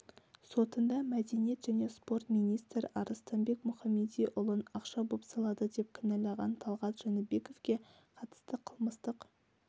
сотында мәдениет және спорт министрі арыстанбек мұхамедиұлын ақша бопсалады деп кінәлаған талғат жәнібековке қатысты қылмыстық